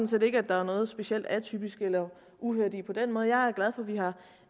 set ikke der er noget specielt atypisk eller uhørt i på den måde jeg